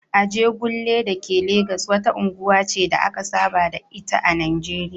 Ajegunle da ke Legas wata unguwa ce da aka saba da ita a Najeriya